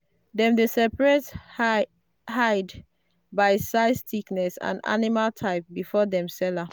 dem dey separate hide by size thickness and animal type before dem sell am.